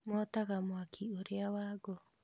Motaga mwaki ũrĩa wa ngũ